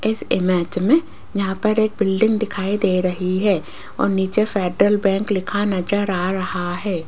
इस इमेज मे यहां पर एक बिल्डिंग दिखाई दे रही है और नीचे फ़ेडरल बैंक लिखा नज़र आ रहा है।